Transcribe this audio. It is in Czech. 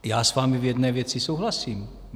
Já s vámi v jedné věci souhlasím.